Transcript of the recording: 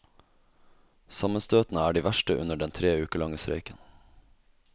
Sammenstøtene er de verste under den tre uker lange streiken.